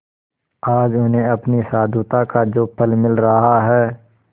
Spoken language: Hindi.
आज उन्हें अपनी साधुता का जो फल मिल रहा है